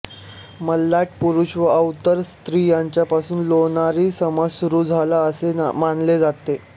मल्लाट पुरुष व आवर्त स्त्री यांच्यापासून लोणारी समाज सुरू झाला असे मानले जाते